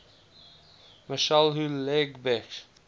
michel houellebecq